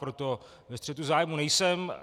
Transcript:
Proto ve střetu zájmů nejsem.